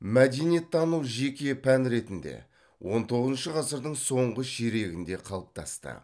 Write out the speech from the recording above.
мәдениеттану жеке пән ретінде он тоғызыншы ғасырдың соңғы ширегінде қалыптасты